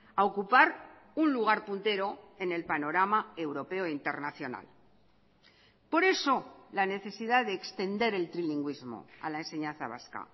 a ocupar un lugar puntero en el panorama europeo internacional por eso la necesidad de extender el trilingüísmo a la enseñanza vasca